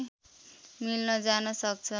मिल्न जान सक्छ